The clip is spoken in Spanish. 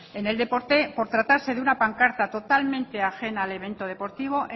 en el deporte por tratarse de una pancarta totalmente ajena al evento deportivo